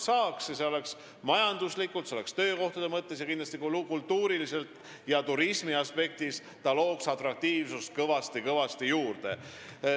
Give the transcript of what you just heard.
See oleks kasulik majanduslikult, töökohtade mõttes, aga kindlasti ka kultuuriliselt – see looks turismi aspektist kõvasti-kõvasti atraktiivsust juurde.